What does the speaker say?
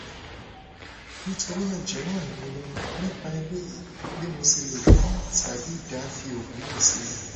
nitorina jowo ranmilowo nipa eleyi bi mo se le din tabi da fi ogun na sile